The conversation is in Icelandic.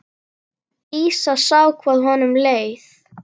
Dísa sá hvað honum leið.